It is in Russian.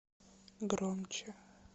громче